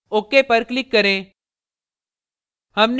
ok पर click करें